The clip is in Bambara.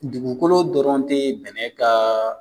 Dugukolo dɔrɔn te bɛnɛ ka